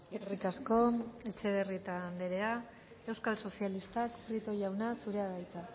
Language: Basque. eskerrik asko etxebarrieta anderea euskal sozialistak prieto jauna zurea da hitza